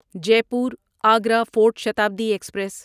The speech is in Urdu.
Jaipur Agra fort Shatabdi express